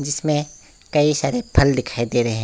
इसमें कई सारे फल दिखाई दे रहे हैं।